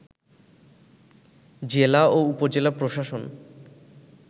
জেলা ও উপজেলা প্রশাসন